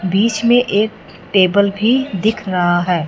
बीच में एक टेबल भीं दिख रहा हैं।